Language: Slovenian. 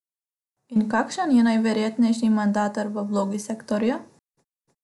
In kakšen je najverjetnejši mandatar v vlogi selektorja?